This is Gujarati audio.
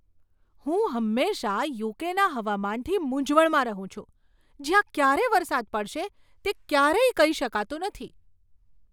હું હંમેશા યુ.કે.ના હવામાનથી મૂંઝવણમાં રહું છું જ્યાં ક્યારે વરસાદ પડશે તે ક્યારેય કહી શકાતું નથી.